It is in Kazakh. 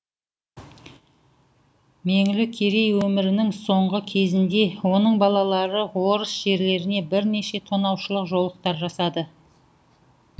меңлі керей өмірінің соңғы кезінде оның балалары орыс жерлеріне бірнеше тонаушылық жорықтар жасады